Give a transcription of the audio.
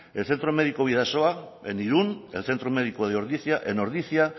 el centro médico bidasoa en irun el centro médico de ordizia en ordizia